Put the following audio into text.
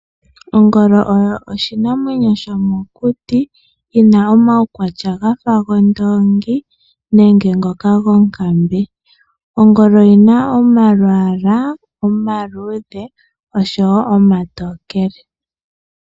Ongolo oyo oshinamwenyo shomokuti yina omaukwatya gafa gondongi nenge ngoka gonkambe. Ongolo oyina imalwala omaludhe nomatokele.